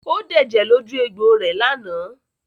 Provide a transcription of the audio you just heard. Ó dẹ̀jẹ̀ lójú egbò rẹ̀ lánàá?